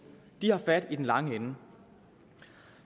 har fat i den lange ende